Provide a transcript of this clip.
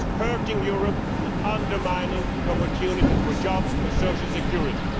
It is hurting Europe and undermining the opportunities for jobs and social security.